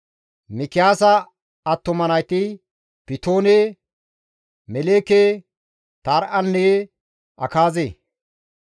Mikiyaasa attuma nayti Pitoone, Meleeke, Tare7anne Akaaze.